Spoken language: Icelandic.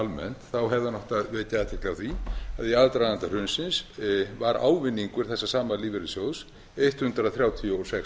almennt þá hefði hann átt að vekja athygli á því að í aðdraganda hrunsins var ávinningur þessa sama lífeyrissjóðs hundrað þrjátíu og sex milljarðar